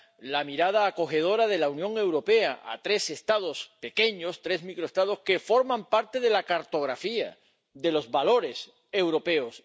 la mirada acogedora de la Unión Europea a tres Estados pequeños —tres microestados— que forman parte de la cartografía, de los valores y de la historia europeos.